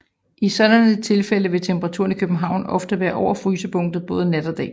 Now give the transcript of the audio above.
I et sådant tilfælde vil temperaturen i København ofte være over frysepunktet både dag og nat